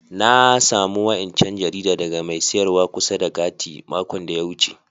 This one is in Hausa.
Na samu wa'incan jarida daga mai sayarwa kusa da gati' makon da ya wuce.